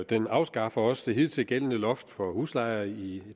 den afskaffer også det hidtil gældende loft for huslejer i